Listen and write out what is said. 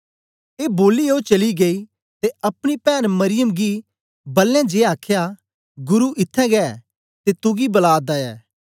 ए बोलिऐ ओ चली गेई ते अपनी पैन्न मरियम गी बलें जिए आखया गुरु इत्थैं गै ऐ ते तुगी बला दा ऐ